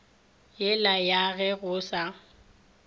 yela ya ge go sa